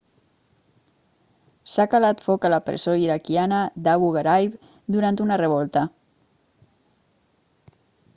s'ha calat foc a la presó iraquiana d'abu ghraib durant una revolta